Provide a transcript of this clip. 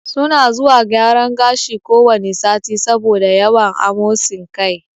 Su na zuwa gyaran gashi ko wane sati, sabo da yawan amosin kai